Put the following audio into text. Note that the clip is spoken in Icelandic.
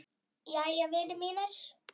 Jæja, vinir mínir.